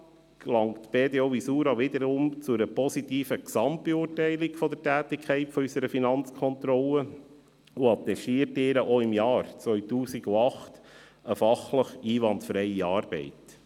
Insgesamt gelangt die BDO Visura wiederum zu einer positiven Gesamtbeurteilung der Tätigkeit unserer Finanzkontrolle und attestiert ihr auch für das Jahr 2018 eine fachlich einwandfreie Arbeit.